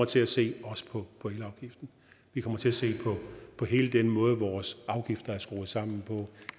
til at se på elafgiften vi kommer til at se på hele den måde vores afgifter er skruet sammen på